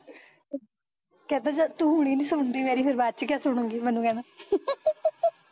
ਕਹਿੰਦਾ ਜਦ ਤੂੰ ਹੁਣੇ ਨੀ ਸੁਣਦੀ ਮੇਰੀ ਬਾਦ ਚ ਕਿਆ ਸੁਣੁਗੀ, ਮੈਨੂੰ ਕਹਿੰਦਾ